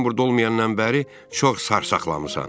Mən burda olmayandan bəri çox sarsaqlamısan.